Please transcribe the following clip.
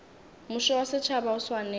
mmušo wa setšhaba o swanetše